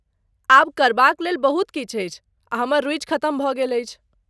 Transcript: आब करबाक लेल बहुत किछु अछि आ हमर रुचि खतम भऽ गेल अछि।